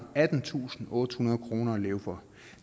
attentusinde og ottehundrede kroner at leve for